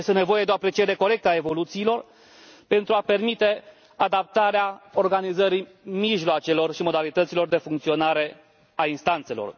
Este nevoie de o apreciere corectă a evoluțiilor, pentru a permite adaptarea organizării mijloacelor și modalităților de funcționare a instanțelor.